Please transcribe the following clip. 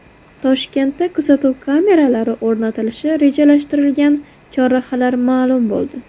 Toshkentda kuzatuv kameralari o‘rnatilishi rejalashtirilgan chorrahalar ma’lum bo‘ldi.